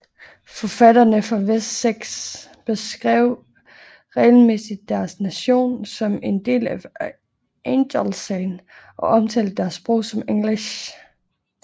Forfattere fra Wessex beskrev regelmæssigt deres nation som en del af Angelcyn og omtalte deres sprog som Englisc